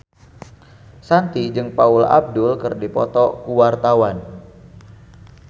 Shanti jeung Paula Abdul keur dipoto ku wartawan